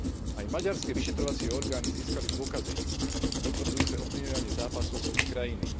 Aj maďarské vyšetrovacie orgány získali dôkazy potvrdzujúce ovplyvňovanie zápasov z ich krajiny.